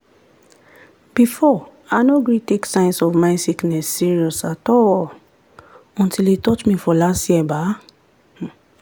before i no gree take signs of mind sickness serious at all until e touch me for last year ba?